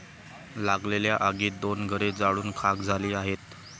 लागलेल्या आगीत दोन घरे जाळून खाक झली आहेत.